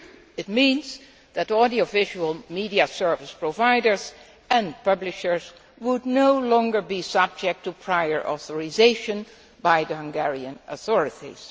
It means that audiovisual media service providers and publishers would no longer be subject to prior authorisation by the Hungarian authorities.